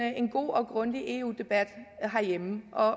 en god og grundig eu debat herhjemme og